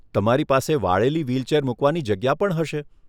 તમારી પાસે વાળેલી વ્હીલચેર મુકવાની જગ્યા પણ હશે.